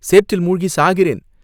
சேற்றில் முழுகிச் சாகிறேன்.